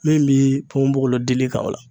Min bi ponponpogolon dili kan o la